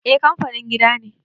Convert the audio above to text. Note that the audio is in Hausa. eh kanfanin gida ne